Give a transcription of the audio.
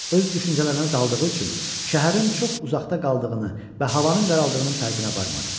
Öz düşüncələrinə daldığı üçün şəhərin çox uzaqda qaldığını və havanın qaraldığının fərqinə varmadı.